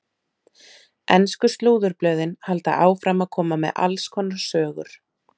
Ensku slúðurblöðin halda áfram að koma með alls konar sögur.